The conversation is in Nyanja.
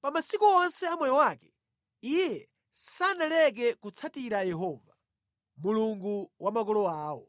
Pa masiku onse a moyo wake, iye sanaleke kutsatira Yehova, Mulungu wa makolo awo.